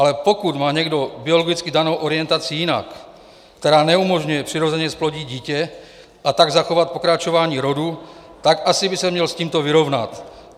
Ale pokud má někdo biologicky danou orientaci jinak, která neumožňuje přirozeně zplodit dítě, a tak zachovat pokračování rodu, tak asi by se měl s tímto vyrovnat.